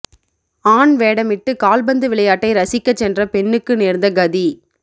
ஆண் வேடமிட்டு கால்பந்து விளையாட்டை ரசிக்க சென்ற பெண்ணுக்கு நேர்ந்த கதி